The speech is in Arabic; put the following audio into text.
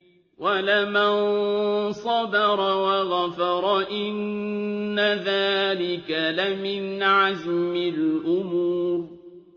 وَلَمَن صَبَرَ وَغَفَرَ إِنَّ ذَٰلِكَ لَمِنْ عَزْمِ الْأُمُورِ